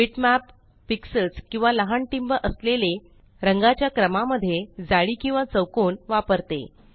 bitmap pixels किंवा लहान टिंब असलेले रंगाच्या क्रमा मध्ये जाळी किंवा चौकोन वापरते